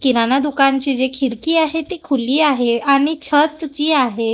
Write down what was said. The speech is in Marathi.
किराणा दुकान चे जी खिडकी आहे ती खुली आहे आणि छत जी आहे--